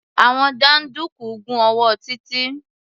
Àwọn jàǹdùkú gún ọwọ́ Títí.